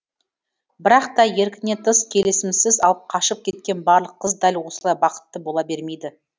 бірақ та еркінен тыс келісімінсіз алып қашып кеткен барлық қыз дәл осылай бақытты бола бермейді